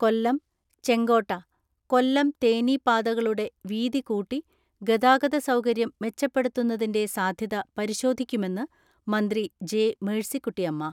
കൊല്ലം, ചെങ്കോട്ട, കൊല്ലം തേനി പാതകളുടെ വീതി കൂട്ടി ഗതാഗത സൗകര്യം മെച്ചപ്പെടുത്തുന്നതിന്റെ സാധ്യത പരിശോധിക്കുമെന്ന് മന്ത്രി ജെ. മേഴ്സിക്കുട്ടിയമ്മ.